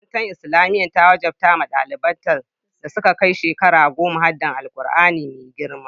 Makarantar Islamiyya ta wajabta wa daliban da suka kai shekara goma haddar Alkur'ani mai girma.